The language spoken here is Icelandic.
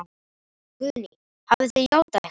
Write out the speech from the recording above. Guðný: Hafið þið játað eitthvað?